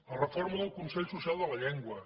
la reforma del consell social de la llengua